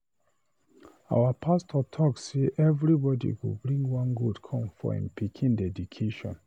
Our pastor talk say everybody go bring one goat come for him pikin dedication.